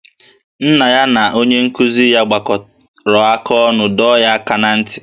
Nna ya na onye nkụzi ya gbakọrọ aka ọnụ dọọ ya aka ná ntị